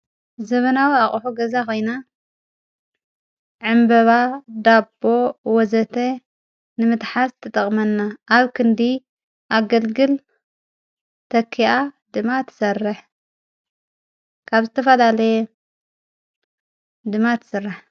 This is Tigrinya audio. ዘበናዊ ኣቕሑ ገዛ ኾይና ዕምበባ፣ ዳቦ ወዘተ ንምትሓስ ተጠቕመና ።ኣብ ክንዲ ኣገድግል ተኪኣ ድማ ትሠርሕ ።ካብ ዝተፋዳለየ ድማ ትሥራሕ።